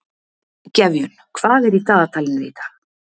Gefjun, hvað er í dagatalinu í dag?